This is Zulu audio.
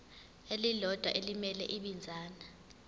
elilodwa elimele ibinzana